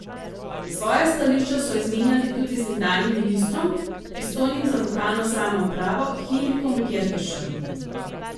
Svoja stališča so izmenjali tudi z nekdanjim ministrom, pristojnim za lokalno samoupravo, Henrikom Gjerkešem.